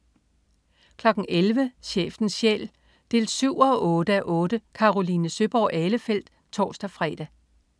11.00 Chefens Sjæl 7-8:8. Caroline Søeborg Ahlefeldt (tors-fre)